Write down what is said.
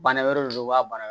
Bana wɛrɛ de don u b'a baara